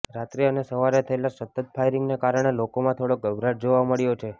રાત્રે અને સવારે થયેલા સતત ફાયરિંગને કારણે લોકોમાં થોડોક ગભરાટ જોવા મળ્યો છે